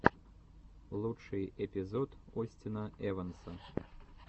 лучший эпизод остина эванса